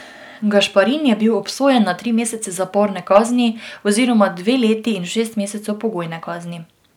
Gašparin je bil obsojen na tri mesece zaporne kazni oziroma dve leti in šest mesecev pogojne kazni.